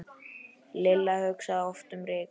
Lilla hugsaði oft um Rikku.